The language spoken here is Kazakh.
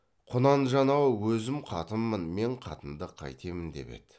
құнанжан ау өзім қатынмын мен қатынды қайтемін деп еді